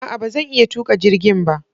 A'a! Ba zan iya tuka jirgin ba.